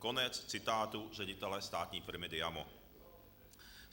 Konec citátu ředitele státní firmy Diamo.